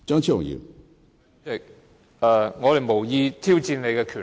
主席，我們無意挑戰你的權力。